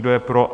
Kdo je pro?